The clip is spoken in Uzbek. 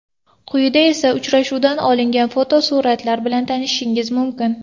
Quyida esa uchrashuvdan olingan fotosuratlar bilan tanishishingiz mumkin.